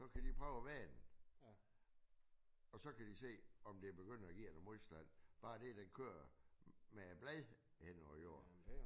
Så kan de prøve at vende og så kan de se om det begynder at give noget modstand bare det at den kører med blad henover jorden